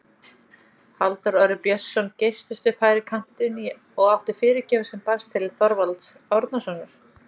Halldór Orri Björnsson geystist upp hægri kantinn og átti fyrirgjöf sem barst til Þorvalds Árnasonar.